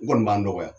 N kɔni b'a nɔgɔya